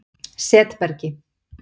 Setbergi